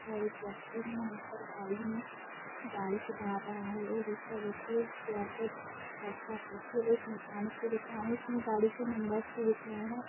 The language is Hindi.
और एक व्यक्ति है यहाँ पर गाड़ी में गाड़ी सुधार रहा है और दूसरा व्यक्ति चेयर पे बैठा है। ये एक मैकेनिक की दुकान है इसमें गाडी के नंबरस भी दिख रहें हैं।